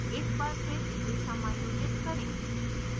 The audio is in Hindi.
एक बार फिर इसे समायोजित करें